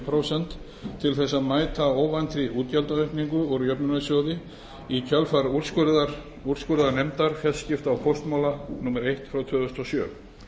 prósent til þess að mæta óvæntri útgjaldaaukningu úr jöfnunarsjóði í kjölfar úrskurðar úrskurðarnefndar fjarskipta og póstmála númer eitt tvö þúsund og sjö